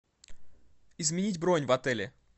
изменить бронь в отеле